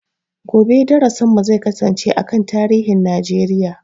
Gobe darasin mu zai kasance a kan tarihin Najeriya